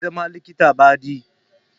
Zai zama likita badi